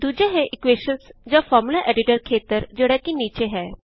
ਦੂਜਾ ਹੈ ਇਕੁਏਸ਼ਨ੍ਜ਼ ਜਾਂ ਫ਼ਾਰਮੂਲਾ ਐਡਿਟਰ ਖੇਤਰ ਜਿਹੜਾ ਕਿ ਨੀਚੇ ਹੈ